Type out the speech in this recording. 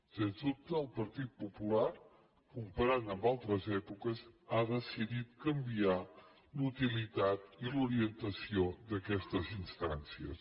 sens dubte el partit popular comparant amb altres èpoques ha decidit canviar la utilitat i l’orientació d’aquestes instàncies